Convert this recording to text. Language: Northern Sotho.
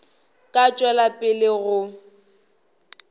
ka tšwela pele le go